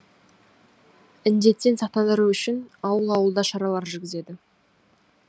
індеттен сақтандыру үшін ауыл ауылда шаралар жүргізеді